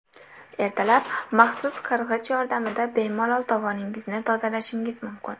Ertalab maxsus qirg‘ich yordamida bemalol tovoningizni tozalashingiz mumkin.